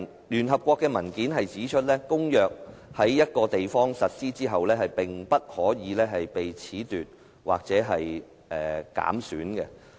聯合國的文件指出，公約在一個地方實施後，便不可以被褫奪或減損。